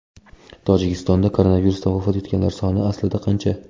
Tojikistonda koronavirusdan vafot etganlar soni aslida qancha?